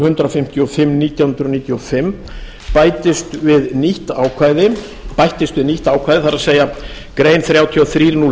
hundrað fimmtíu og fimm nítján hundruð níutíu og fimm bættist við nýtt ákvæði það er grein þrjátíu og þrjú núll þrjú